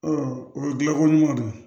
o ye gilako ɲuman de ye